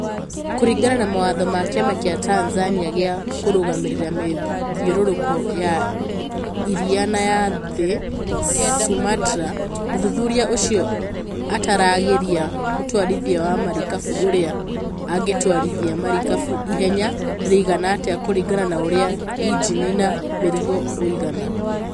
Kũringana na mawatho ma kĩama kĩa Tanzania gĩa kũrũgamĩrĩra mĩthiũrũrũko ya iria na ya thĩ (Sumatra), muthuthuria ũcio ataragĩria mũtwarithia wa marikabu ũrĩa angĩtwarithia marikabu ihenya rĩigna atĩa kũringana na ũrĩa injini na mĩrigo uigana